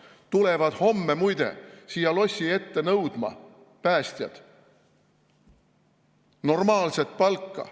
Päästjad tulevad homme muide siia lossi ette nõudma normaalset palka.